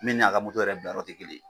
Min ni a ka moto yɛrɛ bila yɔrɔ tɛ kelen ye.